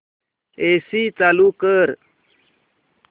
AC चालू कर